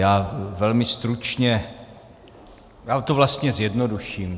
Já velmi stručně - já to vlastně zjednoduším.